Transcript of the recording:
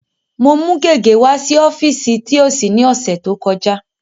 Mo mú gègé wá sí ọ́fíìsì thios ní ọ̀sẹ̀ tó kọjá.